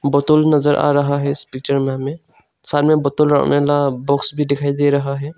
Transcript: Bottle नजर आ रहा है इस पिक्चर में हमें सामने बोतल बुक्स भी दिखाई दे रहा है।